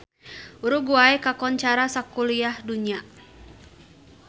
Uruguay kakoncara sakuliah dunya